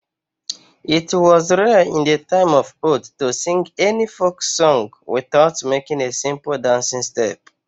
It was rare in the time of old to sing any folk Song without making a simple dancing step.